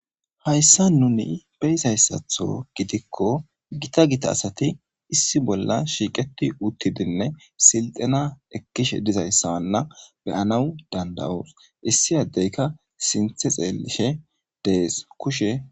Haysa nu beyizayisatho gidiko gita gita asati issiso shiqeti uttidine sitena ekishe dizaysa beyanaw dandayos issi adeyka sinthe xelishe des kushe